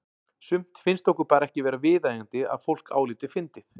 Sumt finnst okkur bara ekki vera viðeigandi að fólk álíti fyndið.